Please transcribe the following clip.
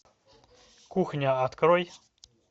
кухня открой